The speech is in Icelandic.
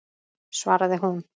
svaraði hún.